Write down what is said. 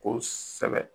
Ko s kosɛbɛ